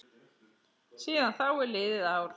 Síðan þá er liðið ár.